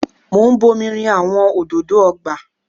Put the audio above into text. Mo ń bomi rin àwọn òdòdó ọgbà.